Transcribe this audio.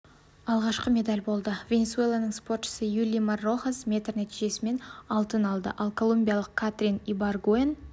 алғашқы медаль болды венесуэланың спортшысы юлимар рохас метр нәтижемен алтын алды ал колумбиялық катрин ибаргуэн